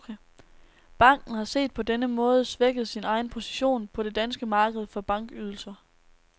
Banken har set på denne måde svækket sin egen position på det danske marked for bankydelser.